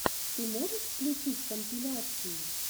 ты можешь включить компиляции